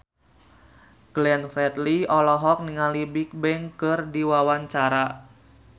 Glenn Fredly olohok ningali Bigbang keur diwawancara